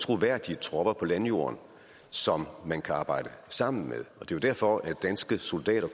troværdige tropper på landjorden som man kan arbejde sammen med det er derfor at danske soldater